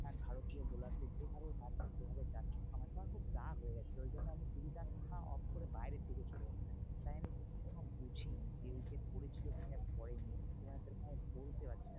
ভারতীয় bowler দের যেভাবে পারছে সেভাবে চার ছক্কা মারছে। আমার খুব রাগ হয়েগেছিলো ওই জন্য আমি TV টা off করে বাইরের দিকে চলে গেছিলাম। তাই আমি সেরকম বুঝিনি যে wicket পড়েছিল কি না পড়েনি? মানে সেরকম আমি বলতে পারছি না।